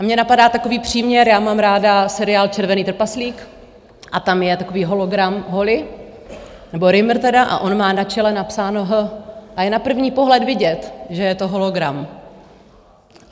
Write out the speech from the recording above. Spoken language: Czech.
A mě napadá takový příměr, já mám ráda seriál Červený trpaslík a tam je takový hologram, Holly nebo Rimmer tedy, a on má na čele napsáno H a je na první pohled vidět, že je to hologram.